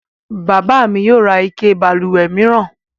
Bàbá mi yio ra ike balùwè mìíran